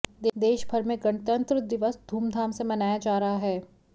देशभर में गणंतत्र दिवस धूमधाम से मनाया जा रहा है